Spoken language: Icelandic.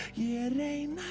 neinu